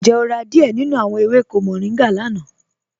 Ǹjẹ́ o rà díẹ̀ nínú awọn èwékò mòrìngá lána?